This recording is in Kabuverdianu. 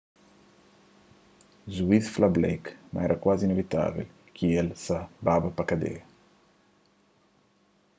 juiz fla blake ma éra kuazi inivitável ki el sa baba pa kadia